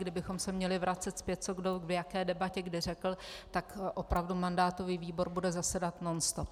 Kdybychom se měli vracet zpět, co kdo v jaké debatě kdy řekl, tak opravdu mandátový výbor bude zasedat nonstop.